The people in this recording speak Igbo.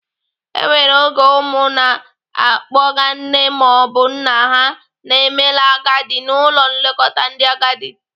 E nwere oge ụmụ na-akpọga nne maọbụ nna ha na-emela agadi n'ụlọ nlekọta ndị agadi.